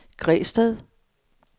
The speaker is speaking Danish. Græsted